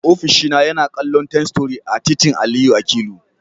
Ofishina yana kallon Ten Story a titin Aliyu Akilu.